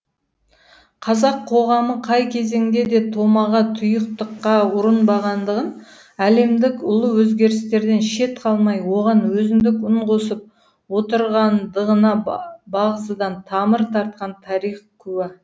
қазақ қоғамы қай кезеңде де томаға тұйықтыққа ұрынбағандығын әлемдік ұлы өзгерістерден шет қалмай оған өзіндік үн қосып отырғандығына бағзыдан тамыр тартқан тарих куә